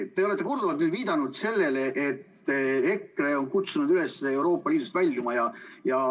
Te olete korduvalt viidanud sellele, et EKRE on kutsunud üles Euroopa Liidust väljuma.